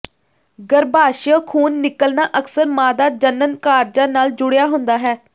ਗਰੱਭਾਸ਼ਯ ਖੂਨ ਨਿਕਲਣਾ ਅਕਸਰ ਮਾਦਾ ਜਣਨ ਕਾਰਜਾਂ ਨਾਲ ਜੁੜਿਆ ਹੁੰਦਾ ਹੈ